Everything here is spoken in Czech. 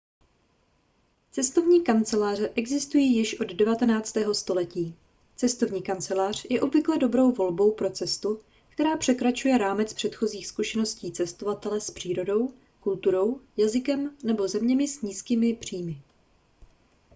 cestovní kanceláře existují již od 19. století cestovní kancelář je obvykle dobrou volbou pro cestu která překračuje rámec předchozích zkušeností cestovatele s přírodou kulturou jazykem nebo zeměmi s nízkými příjmy